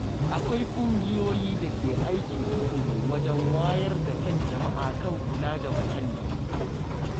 Akwai ƙungiyoyi da ke aiki tukuru wajen wayar da kan jama’a kan kula da muhalli.